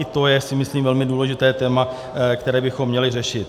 I to je, myslím si, velmi důležité téma, které bychom měli řešit.